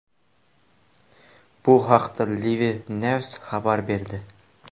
Bu haqda LifeNews xabar berdi .